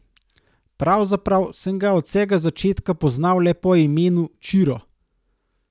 Pravzaprav sem ga od vsega začetka poznal le po imenu Čiro.